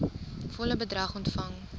volle bedrag ontvang